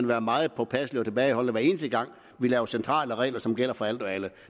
være meget påpasselige og tilbageholdende hver eneste gang vi laver centrale regler som gælder for alt og alle